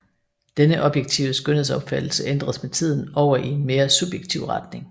Denne objektive skønhedsopfattelse ændredes med tiden over i en mere subjektiv retning